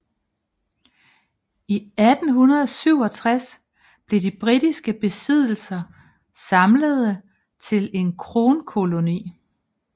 I 1867 blev de britiske besiddelser samlede til en kronkoloni